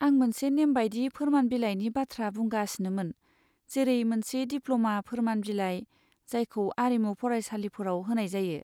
आं मोनसे नेमबादि फोरमान बिलाइनि बाथ्रा बुंगासिनोमोन, जेरै मोनसे डिप्ल'मा फोरमान बिलाइ, जायखौ आरिमु फरायसालिफोराव होनाय जायो।